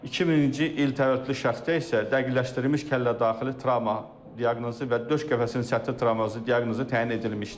2000-ci il təvəllüdlü şəxsdə isə dəqiqləşdirilmiş kəllədaxili travma diaqnozu və döş qəfəsinin səthi travması diaqnozu təyin edilmişdir.